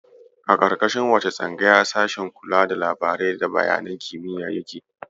A ƙarƙashin wace tsangaya sashen kula da labirari da bayanan kimiyya yake?